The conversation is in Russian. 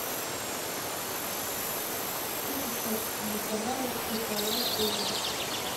что сейчас на канале кхл тв